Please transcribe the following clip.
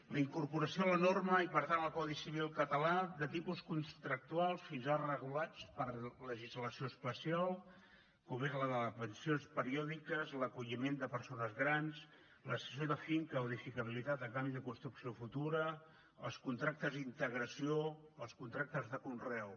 la incorporació a la norma i per tant al codi civil català de tipus contractuals fins ara regulats per legislació especial com són la de pensions periòdiques l’acolliment de persones grans la cessió de finca o d’edificabilitat a canvi de construcció futura els contractes d’integració els contractes de conreu